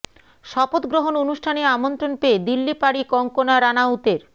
শপথ গ্রহণ অনুষ্ঠানে আমন্ত্রণ পেয়ে দিল্লি পাড়ি কঙ্গনা রানাউতের